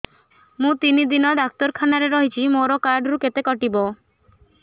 ମୁଁ ତିନି ଦିନ ଡାକ୍ତର ଖାନାରେ ରହିଛି ମୋର କାର୍ଡ ରୁ କେତେ କଟିବ